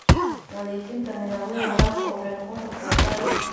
Nadiifinta nidaamyada waraabka waxay noqon kartaa qaali.